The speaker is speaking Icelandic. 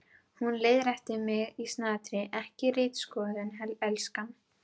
Hún leiðréttir mig í snatri: Ekki ritskoðun, elskan.